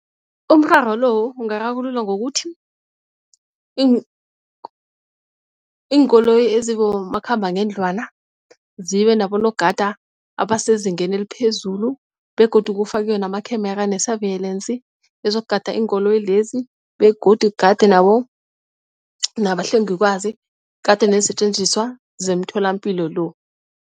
Umraro lo ungararululwa ngokuthi iinkoloyi ezibomakhambangendlwana zibe nabogada abasezingeni eliphezulu begodu kufakiwe namakhemera ne-surveillance ezizokugada iinkoloyi lezi begodu kugadwe nabahlengikwazi kugadwe neensetjenziswa zemtholampilo lo.